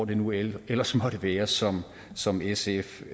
det nu end ellers måtte være som som sf